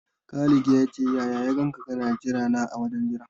Khalid ya ce ya ya ganka kana jira na a wajen jira.